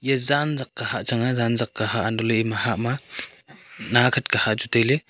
e zanjak kah hah chaang zanjak ka hah antoley ema hahma nakhet ka hah chu tailey.